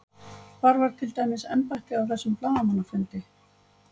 Hvar var til dæmis embættið á þessum blaðamannafundi?